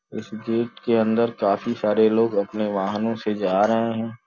इस गेट के अंदर काफी सारे लोग अपने वाहनों से जा रहे हैं।